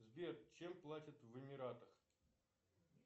сбер чем платят в эмиратах